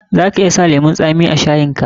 Za ka iya sa lemun tsami a shayin ka.